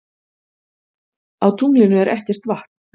Á tunglinu er ekkert vatn.